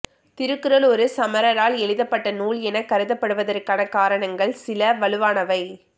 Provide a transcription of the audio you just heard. திருக்குறள் ஒரு சமணரால் எழுதப்பட்ட நூல் என கருதப்படுவதற்கான காரணங்கள் சில வலுவானவை